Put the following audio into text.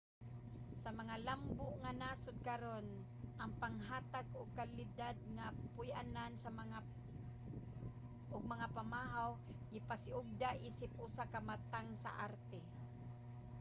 sa mga lambo nga nasod karon ang paghatag og kalidad nga puy-anan ug mga pamahaw gipasiugda isip usa ka matang sa arte